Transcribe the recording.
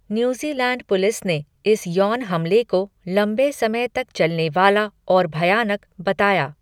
New Zealand police ने इस यौन हमले को 'लंबे समय तक चलने वाला और भयानक' बताया।